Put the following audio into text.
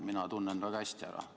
Mina tunnen teid väga hästi ära.